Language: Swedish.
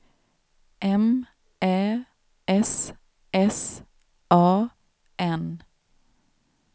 M Ä S S A N